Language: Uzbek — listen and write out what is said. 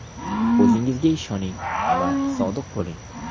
O‘zingizga ishoning va sodiq bo‘ling.